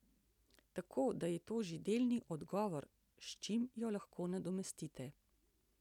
Tako da je to že delni odgovor, s čim jo lahko nadomestite.